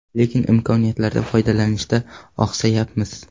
Lekin imkoniyatlardan foydalanishda oqsayapmiz.